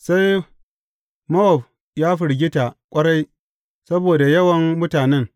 Sai Mowab ya firgita ƙwarai saboda yawan mutanen.